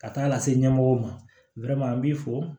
Ka taa lase ɲɛmɔgɔw ma an b'i fo